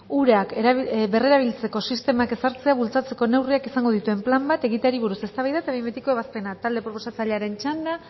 urak berrerabiltzeko sistemak ezartzea bultzatzeko neurriak izango dituen plan bat egiteari buruz eztabaida eta behin betiko ebazpena talde proposatzailearen txanda